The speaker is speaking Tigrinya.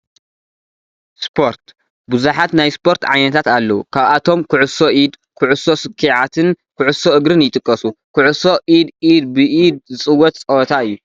ስፖርት፡- ብዙሓት ናይ ስፖርት ዓይነታት ኣለው፡፡ ካብኣቶም ኩዕሶ ኢድ፣ ኩዕሶ ስኬዓትን ኩዕሶ እግርን ይጥቀሱ፡፡ ኩዕሶ ኢድ ኢድ ብኢድ ዝፅወት ፀወታ እዩ፡፡